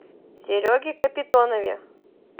сереге капитонове